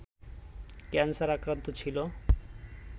cancer আক্রান্ত ছিল